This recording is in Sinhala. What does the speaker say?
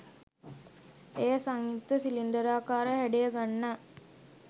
එය සංයුක්ත සිලින්ඩරාකාර හැඩය ගන්නා